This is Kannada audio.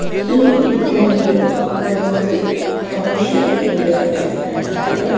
ಈ ಪಿಕ್ ನಂಗೆ ಒಂದು ಫಂಕ್ಷನ್ ಏರಿಯಾ ಟೈಪ್ ಕಾಣಿಸ್ತಾ ಇದೆ.